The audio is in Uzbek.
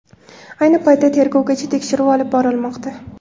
Ayni paytda tergovgacha tekshiruv olib borilmoqda.